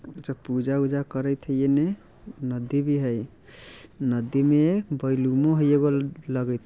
अच्छा पूजा-ऊजा करीत हई एने नदी भी हई | नदी मे बैलूनों हई एगो लगित ।